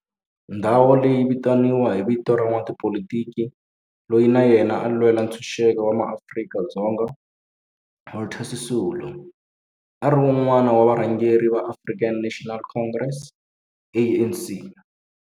Ndhawo leyi yi vitaniwa hi vito ra n'watipolitiki loyi na yena a lwela ntshuxeko wa maAfrika-Dzonga Walter Sisulu, a ri wun'wana wa varhangeri va African National Congress, ANC.